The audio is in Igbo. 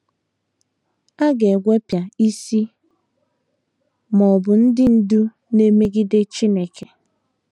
A ga - egwepịa “ isi, ” ma ọ bụ ndị ndú na - emegide Chineke.